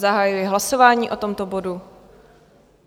Zahajuji hlasování o tomto bodu.